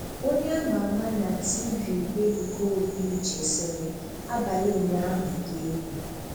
Onye a ma ama na 'TV' Ebuka Obi-Uche sịrị: 'Abalị ụnyaahụ dị égwù.